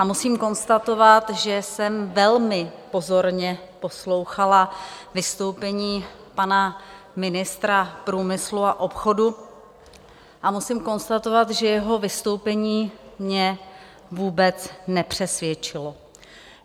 A musím konstatovat, že jsem velmi pozorně poslouchala vystoupení pana ministra průmyslu a obchodu, a musím konstatovat, že jeho vystoupení mě vůbec nepřesvědčilo.